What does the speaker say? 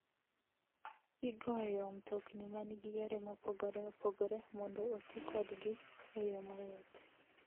Igoyo mtokni ma nigi yore mopogore opogore mondo oti kodgi e yo mayot.